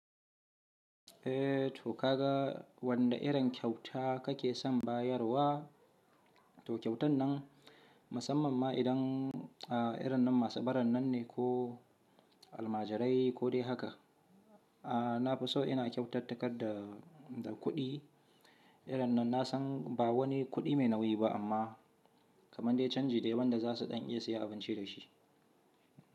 Eh to ka ga wanda irin kyauta kake san bayarwa, to kyautan nan musamman ma idan irin nan masu baran nan ne ko almajirai ko dai haka. Na fi so ina kyautata kar da, da kuɗi irin nan na san ba wani kuɗi mai nauyi ba amma kamar dai canji dai wanda za su ɗan iya siya abinci da shi.